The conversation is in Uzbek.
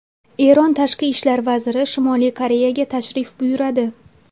Eron tashqi ishlar vaziri Shimoliy Koreyaga tashrif buyuradi.